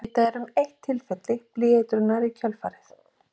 Vitað er um eitt tilfelli blýeitrunar í kjölfarið.